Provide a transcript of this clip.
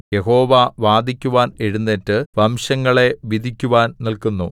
യഹോവ വാദിക്കുവാൻ എഴുന്നേറ്റു വംശങ്ങളെ വിധിക്കുവാൻ നില്ക്കുന്നു